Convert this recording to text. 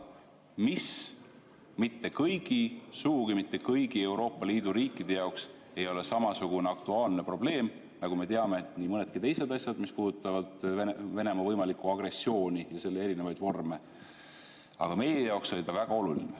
Me teame, et see ei ole kõigi, sugugi mitte kõigi Euroopa Liidu riikide jaoks samasugune aktuaalne probleem, nagu nii mõnedki teised asjad, mis puudutavad Venemaa võimalikku agressiooni ja selle erinevaid vorme, aga meie jaoks oli see väga oluline.